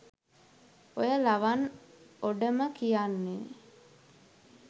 ඔය ලවන් ඔඩම කියන්නේ